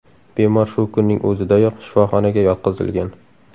Bemor shu kunning o‘zidayoq shifoxonaga yotqizilgan.